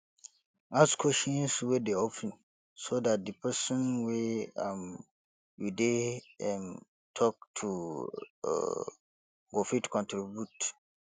ask questions wey dey open so dat di person wey um you dey um talk to um go fit contribute